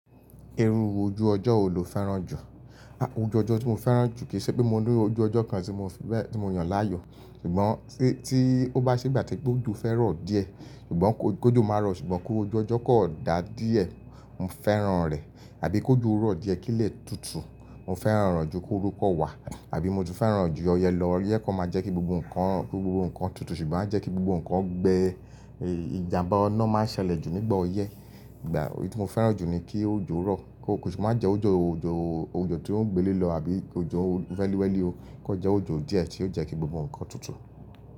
Iru ojú ọjọ́ wo lo fẹ́ràn jù? Ojú ọjọ́ tí mo fẹ́ràn jù kì í ṣe pé mo ní ojú ọjọ́ kan tí mo fi bẹ́ẹ̀, tí mo yàn láàyò, ṣùgbọ́n tí, tí ó bá ṣe igbà tí pé ojo fẹ́ rọ̀ díẹ̀, ṣùgbọ́n kó, kójo má rọ̀, ṣùgbọ́n kó ojú ọjọ́ kan dà díẹ̀, mo fẹ́ràn rẹ̀. Àbí kó ojo rọ̀ díẹ̀ kí lè tutù, mo fẹ́ràn re ju kórú kan wá. Àbí mo ti fẹ́ràn jú ọyẹ lọ. Ọyẹ kan má jẹ́ kí gbogbo nǹkan, gbogbo nǹkan tutù ṣùgbọ́n a jẹ́ kí gbogbo nǹkan gbe, èè, ìjàǹbá inà má ṣẹlẹ̀ jù nígbà ọyẹ. Ìgbà, èyí tí mo fẹ́ràn jù ni kí ojú rọ̀, kó, kó ṣi má jẹ́ ojo, ojo, ojo tí ó gbélé lọ àbí ojo wẹ́lìwẹ́lì o. Kó jẹ́ ojo díẹ̀ tí yóò jẹ́ kí gbogbo nǹkan tutù.